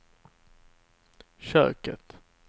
köket